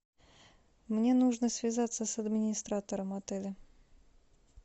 мне нужно связаться с администратором отеля